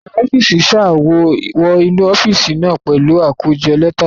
Akọ̀we ọ́fíìsì sá wọ inú ọ́fíìsì náà pẹ̀lú àkójọ lẹ́tà lọ́wọ́.